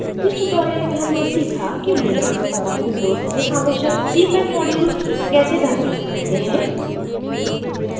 इस ट्यूटोरियल में हमने सीखा कि लिनक्स और विंडोज़ में आवश्यक cpan modules कैसे डाउनलोड करते हैं